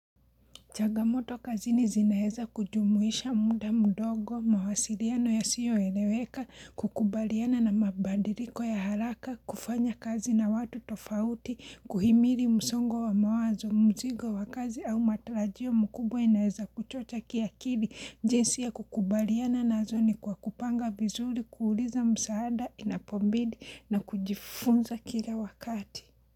Chagamoto kazini zinaeza kujumuisha muda, mdogo, mawasiliano yasiyo eleweka, kukubaliana na mabandiliko ya haraka, kufanya kazi na watu tofauti, kuhimiri msongo wa mawazo, mzigo wa kazi au matarajio mkubwa inaeza kuchocha kiakili jinsi ya kukubaliana nazo ni kwa kupanga vizuri, kuuliza msaada, inapobidi na kujifunza kila wakati.